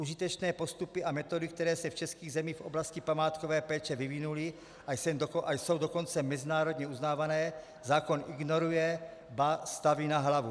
Užitečné postupy a metody, které se v českých zemích v oblasti památkové péče vyvinuly a jsou dokonce mezinárodně uznávané, zákon ignoruje, ba staví na hlavu.